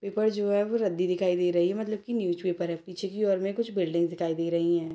Paper जो है रद्दी दिखाई दे रही है मतलब की न्यूज पेपर है पीछे की ओर में कुछ बिल्डिंग दिखाई दे रही है।